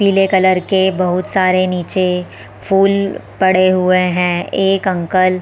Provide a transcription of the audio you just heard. पीले कलर के बहुत सारे नीचे फूल पड़े हुए है एक अंकल --